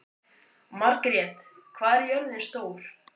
Margrjet, hvað er jörðin stór?